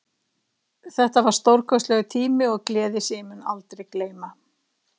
Þetta var stórkostlegur tími og gleði sem ég mun aldrei gleyma.